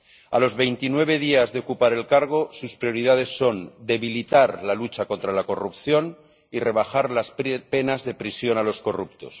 A los 29 días de ocupar el cargo, sus prioridades son debilitar la lucha contra la corrupción y rebajar las penas de prisión a los corruptos.